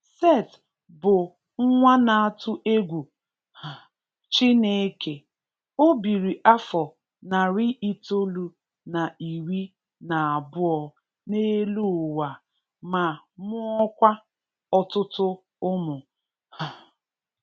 Seth bụ nwa na atụ egwu um chineke o biri afọ narị itolu na iri na abụọ n'elu ụwa ma mụọ kwa ọtụtụ ụmụ um